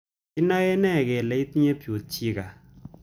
Kinae nee kole itinye Peutz Jeghers